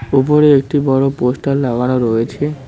ওপরে একটি বড় পোস্টার লাগানো রয়েছে।